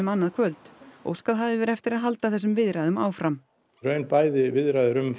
annað kvöld óskað hafi verið eftir að halda þessum viðræðum áfram í raun bæði viðræður um